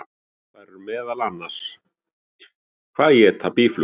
Þær eru meðal annars: Hvað éta býflugur?